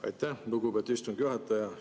Aitäh, lugupeetud istungi juhataja!